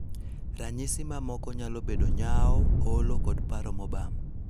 Ranyisi mamoko nyalo bedo nyawo, olo, koda paro mobam.